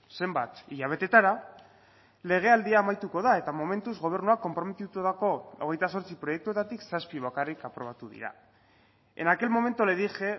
zenbat hilabetetara legealdia amaituko da eta momentuz gobernuak konprometitutako hogeita zortzi proiektuetatik zazpi bakarrik aprobatu dira en aquel momento le dije